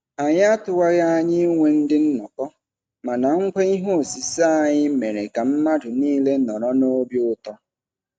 Anyị atụwaghị anya inwe ndị nnọkọ, mana ngwa ihe osise anyị mere ka mmadụ niile nọrọ n'obi ụtọ.